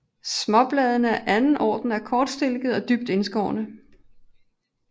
Småbladene af anden orden er kortstilkede og dybt indskårne